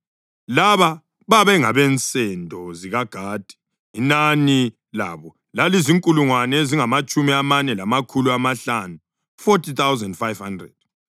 Laba bengabensendo zikaGadi; inani labo lalizinkulungwane ezingamatshumi amane lamakhulu amahlanu (40,500).